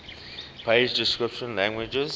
page description languages